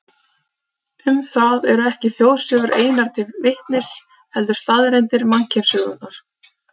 Um það eru ekki þjóðsögur einar til vitnis, heldur staðreyndir mannkynssögunnar.